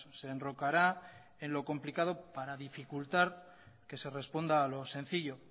se enrocará en lo complicado para dificultar que se responda a lo sencillo